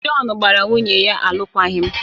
Jọn gbara nwunye ya alụkwaghịm